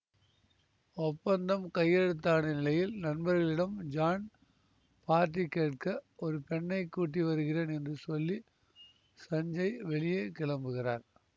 ஒப்பந்தம் கையெழுத்தான நிலையில் நண்பர்களிடம் ஜான் பார்ட்டி கேட்க ஒரு பெண்ணை கூட்டி வருகிறேன் என்று சொல்லி சஞ்சய் வெளியே கிளம்புகிறார்